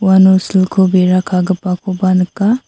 uano silko bera kagipakoba nika.